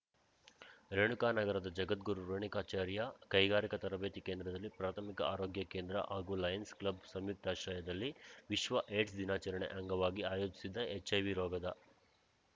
ರೇಣುಕಾನಗರದ ಜಗದ್ಗುರು ರೇಣುಕಾಚಾರ್ಯ ಕೈಗಾರಿಕಾ ತರಬೇತಿ ಕೇಂದ್ರದಲ್ಲಿ ಪ್ರಾಥಮಿಕ ಆರೋಗ್ಯ ಕೇಂದ್ರ ಹಾಗೂ ಲಯನ್ಸ್‌ ಕ್ಲಬ್‌ ಸಂಯುಕ್ತಾಶ್ರಯದಲ್ಲಿ ವಿಶ್ವ ಏಡ್ಸ್‌ ದಿನಾಚರಣೆ ಅಂಗವಾಗಿ ಆಯೋಜಿಸಿದ್ದ ಹೆಚ್‌ಐವಿ ರೋಗದ